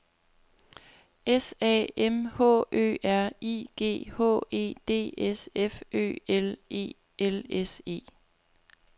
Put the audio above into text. S A M H Ø R I G H E D S F Ø L E L S E